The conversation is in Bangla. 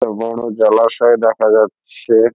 একটা বড়ো জলাশয় দেখা যাচ্ছে।